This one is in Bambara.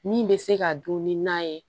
Min bɛ se ka dun ni na ye